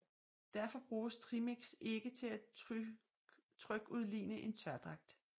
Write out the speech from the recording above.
Derfor bruges trimix ikke til at trykudligne en tørdragt